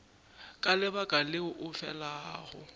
ka lebaka leo o felago